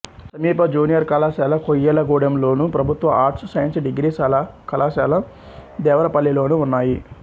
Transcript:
సమీప జూనియర్ కళాశాల కొయ్యలగూడెంలోను ప్రభుత్వ ఆర్ట్స్ సైన్స్ డిగ్రీ కళాశాల దేవరపల్లిలోనూ ఉన్నాయి